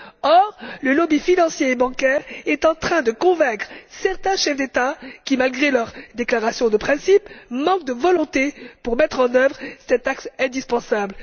Or, le lobby financier et bancaire est en train de convaincre certains chefs d'État qui, malgré leurs déclarations de principe, manquent de volonté pour mettre en œuvre cet acte indispensable.